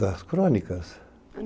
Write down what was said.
Das crônicas?